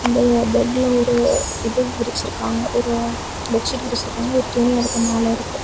இந்த பெட்ல ஒரு இது விரிச்சுருக்காங்க ஒரு பெட்ஷீட் விரிச்சிருக்காங்க ஒரு துணி அதுக்கு மேல இருக்கு.